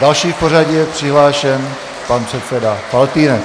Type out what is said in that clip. Další v pořadí je přihlášen pan předseda Faltýnek.